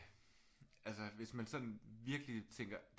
Altså hvis man sådan virkelig tænker